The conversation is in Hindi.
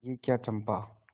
यह क्या चंपा